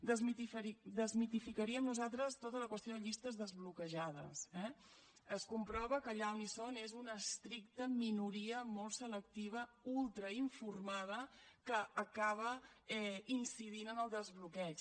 desmitificaríem nosaltres tota la qüestió de llistes desbloquejades eh es comprova que allà on hi són és una estricta minoria molt selectiva ultrainformada que acaba incidint en el desbloqueig